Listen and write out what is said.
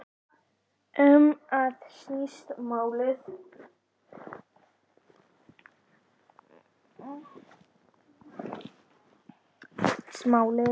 Um það snýst málið.